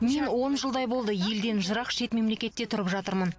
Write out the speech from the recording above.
мен он жылдай болды елден жырақ шет мемлекетте тұрып жатырмын